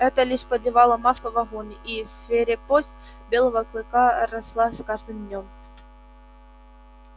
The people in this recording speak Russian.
это лишь подливало масла в огонь и свирепость белого клыка росла с каждым днём